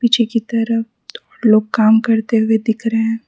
पीछे की तरफ लोग काम करते हुए दिख रहे हैं।